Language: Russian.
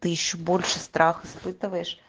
ты ещё больше страх испытываешь